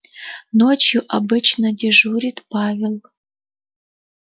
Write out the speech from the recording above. ночью обычно дежурит павел